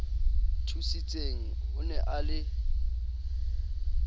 thusitseng o ne a le